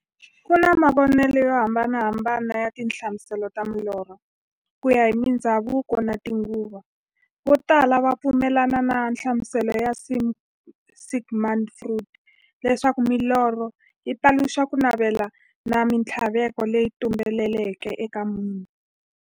Ku na mavonele yo hambanahambana ya tinhlamuselo ta milorho, kuya hi mindzhavuko na tinguva. Votala va pfumelana na nhlamuselo ya Sigmund Freud, leswaku milorho yi paluxa kunavela na minthlaveko leyi tumbeleke eka munhu.